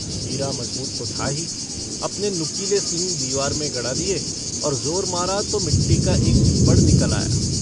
हीरा मज़बूत तो था ही, अपने नुकीले सींग दीवार में गड़ा दिए और ज़ोर मारा तो मिट्टी का एक चिप्पड़ निकल आया।